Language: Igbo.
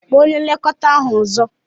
Kpọọ onye nlekọta ahu ọzọ!